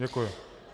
Děkuji.